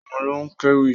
Òun ló kéwì.